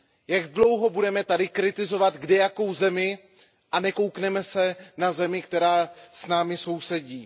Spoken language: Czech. Jak dlouho budeme tady kritizovat kdejakou zemi a nepodíváme se na zemi, která s námi sousedí?